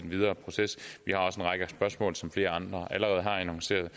videre proces vi har også en række spørgsmål som flere andre allerede har annonceret